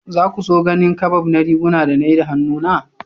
Za ku so ganin kabab na riguna da na yi da hannuna?